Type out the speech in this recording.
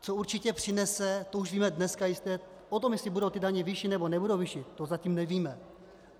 Co určitě přinese, to už víme dneska jistě, o tom, jestli budou ty daně vyšší, nebo nebudou vyšší, to zatím nevíme.